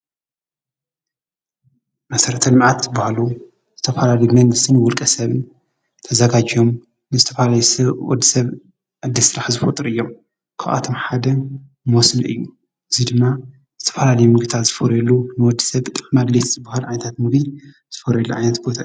መሰረተል መዓት ዝብሃሉ ዝተፍላለዮ መንግስተን ውልቀሰብ ተዛጋጂዮም ንዝተፋላለዮ ሰወድ ሰብ እድል ሥራሕ ዝፈጥር እዮም ክኣቶም ሓደ ሞስም እዩ እዙይ ድማ ዝተፍላል ምግታ ዝፈርሉ ንወዲ ሰብ ጠሕ መግልት ዝብሃል ኣንታት ምቢል ዝፈርየሉ ኣየት ቦታሩ።